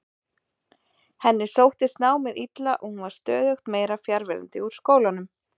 Henni sóttist námið illa og hún var stöðugt meira fjarverandi úr skólanum.